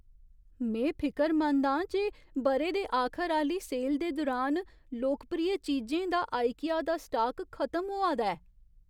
में फिकरमंद आं जे ब'रे दे आखर आह्‌ली सेल दे दुरान लोकप्रिय चीजें दा आईकिया दा स्टाक खतम होआ दा ऐ।